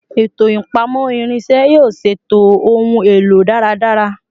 Eto ipamọ irinṣẹ yoo ṣeto ohun elo daradara